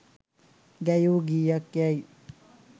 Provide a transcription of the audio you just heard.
ගැයූ ගීයක් යැයි